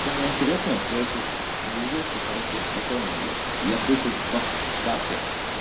самое интересное что я сейчас лежу всё хорошо спокойно блять я слышу шкаф в шкафе